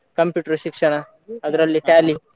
Computer ಶಿಕ್ಷಣ ಅದ್ರಲ್ಲಿ Tally .